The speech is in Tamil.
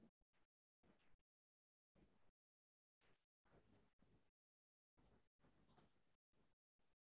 அஹ் actual ஆ enquiry பண்ணிருந்தேன் already. இந்த food orders லாம் வந்து நீங்க எடுக்கறீங்கல்லையா?